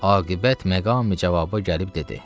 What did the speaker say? Aqibət məqami-cavaba gəlib dedi.